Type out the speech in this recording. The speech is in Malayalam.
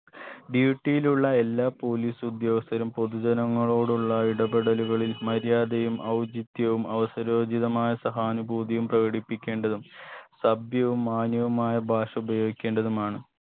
duty യിലുള്ള എല്ലാ police ഉദ്യോഗസ്ഥരും പൊതുജനങ്ങളോടുള്ള ഇടപെടലുകളായിൽ മര്യാദയും ഔചിത്യവും അവസരോചിതമായ സഹാനുഭൂതിയും പ്രകടത്തിപ്പിക്കേണ്ടതും സഭ്യവും മാന്യവുമായ ഭാഷ ഉപയോഗിക്കേണ്ടതുമാണ്